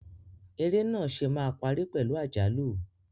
Eré náà ṣe máa parí pẹ̀lú àjálù.